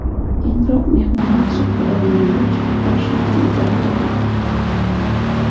Keyinroq mehmonlar hisobda oldinga chiqib olishni ham uddalagandi.